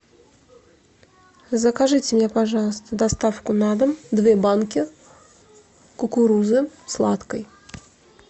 закажите мне пожалуйста доставку на дом две банки кукурузы сладкой